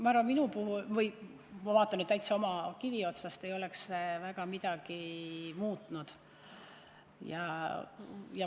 Ma arvan, minu puhul – ma vaatan nüüd täiesti oma kivi otsast – ei oleks see väga midagi muutnud.